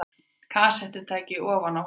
Kassettutæki ofan á honum.